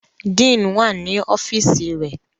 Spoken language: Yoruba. Dean wà ní ọ́fíìsì rẹ̀.